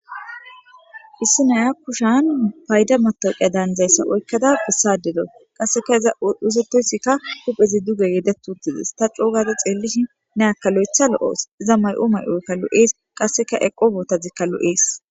Issi naya kushan payda matoqeya danzayssa oykkada bissadedo qasseka iza usetoysikka huphezi duge yedettuntizes ta coogade xeellishi ne aka lo7etha lo7oos iza may7o may7oykka lo7ees qasseka eqo bootazikka lo7ees.